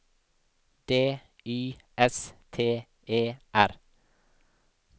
D Y S T E R